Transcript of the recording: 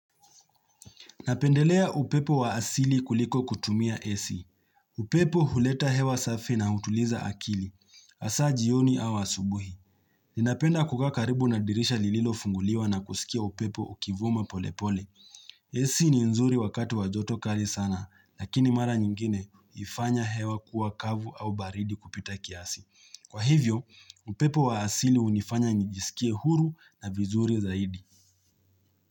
Napendelea upepo wa asili kuliko kutumia AC. Upepo huleta hewa safi na hutuliza akili. Hasa jioni au asubuhi. Ninapenda kukaa karibu na dirisha lililofunguliwa na kusikia upepo ukivuma polepole. AC ni nzuri wakati wajoto kali sana, lakini mara nyingine hufanya hewa kuwa kavu au baridi kupita kiasi. Kwa hivyo, upepo wa asili hunifanya nijisikie huru na vizuri zaidi.